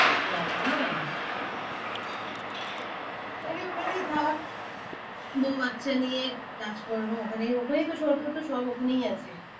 ও আসবি না? তাইলে ওখানেই থাক। বউ বাচ্চা নিয়ে কাজকর্ম ওখানে ওখানেই সব~তো তোর সব ওখানেই আছে।